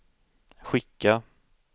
skicka